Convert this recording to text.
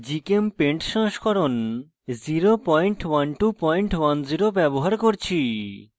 gchempaint সংস্করণ 01210 ব্যবহার করছি